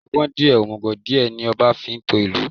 Ọgbọ́n díè, òmùgò díẹ̀, ní ọba fi ń to ìlú.